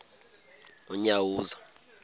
unyawuza